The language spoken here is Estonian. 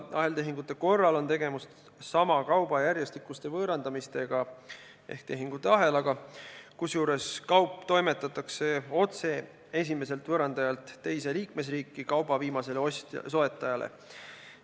Aheltehingute korral on tegemist sama kauba järjestikuste võõrandamistega ehk tehinguahelaga, kusjuures kaup toimetatakse otse esimeselt võõrandajalt teise liikmesriiki kauba viimasele soetajale.